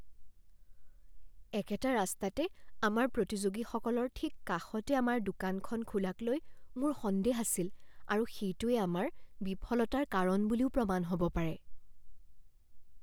একেটা ৰাস্তাতে আমাৰ প্ৰতিযোগীসকলৰ ঠিক কাষতে আমাৰ দোকানখন খোলাকলৈ মোৰ সন্দেহ আছিল আৰু সেইটোৱেই আমাৰ বিফলতাৰ কাৰণ বুলিও প্ৰমাণ হ'ব পাৰে।